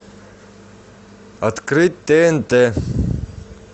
открыть тнт